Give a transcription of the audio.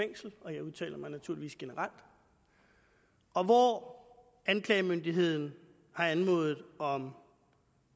fængsel og jeg udtaler mig naturligvis generelt og hvor anklagemyndigheden har anmodet om